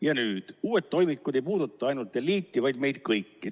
Ja nüüd: "Uued toimikud ei puuduta ainult eliiti, vaid meid kõiki.